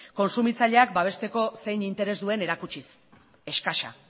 kontsumitzaileak babesteko zein interes duen erakutsiz eskasa